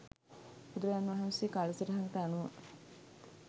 බුදුරජාණන් වහ්නසේ කාලසටහනකට අනුව